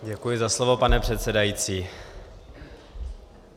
Děkuji za slovo, pane předsedající.